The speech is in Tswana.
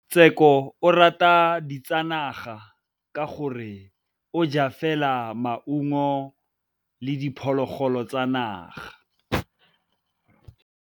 Tshekô o rata ditsanaga ka gore o ja fela maungo le diphologolo tsa naga.